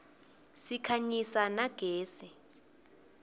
sikhanyisa na gezi